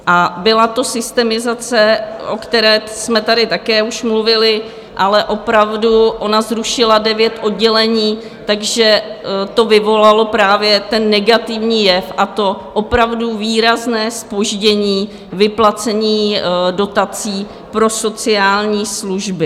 A byla to systemizace, o které jsme tady také už mluvili, ale opravdu ona zrušila devět oddělení, takže to vyvolalo právě ten negativní jev, a to opravdu výrazné zpoždění vyplacení dotací pro sociální služby.